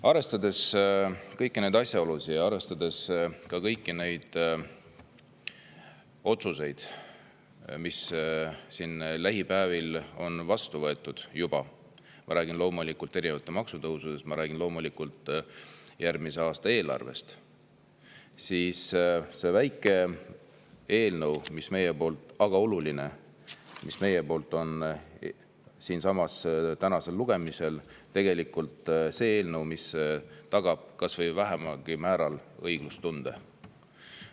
Arvestades kõiki asjaolusid ja ka kõiki otsuseid, mis on siin neil päevil juba vastu võetud – ma räägin loomulikult erinevatest maksutõusudest, ma räägin loomulikult järgmise aasta eelarvest –, tagab see meie väike, aga oluline eelnõu, mis on täna siinsamas lugemisel, tegelikult kas või vähesel määral õiglustunde.